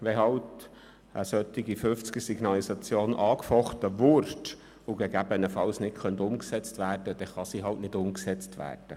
– Wenn eine Höchstgeschwindigkeit von 50 km/h angefochten würde und gegebenenfalls nicht umgesetzt werden könnte, dann könnte sie halt nicht umgesetzt werden.